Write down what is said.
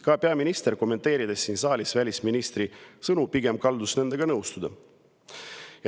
Ka peaminister, kommenteerides siin saalis välisministri sõnu, kaldus nendega pigem nõustuma.